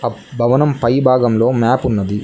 ఆ భవనం పై భాగంలో మ్యాప్ ఉన్నది.